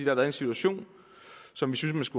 har været en situation som vi syntes